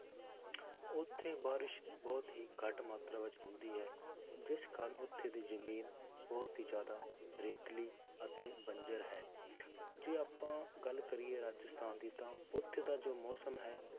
ਉੱਥੇ ਬਾਰਿਸ਼ ਬਹੁਤ ਹੀ ਘੱਟ ਮਾਤਰਾ ਵਿੱਚ ਹੁੰਦੀ ਹੈ, ਜਿਸ ਕਾਰਨ ਉੱਥੇ ਦੀ ਜ਼ਮੀਨ ਬਹੁਤ ਹੀ ਜ਼ਿਆਦਾ ਰੇਤਲੀ ਅਤੇ ਬੰਜ਼ਰ ਹੈ, ਜੇ ਆਪਾਂ ਗੱਲ ਕਰੀਏ ਰਾਜਸਥਾਨ ਦੀ ਤਾਂ ਉੱਥੇ ਦਾ ਜੋ ਮੌਸਮ ਹੈ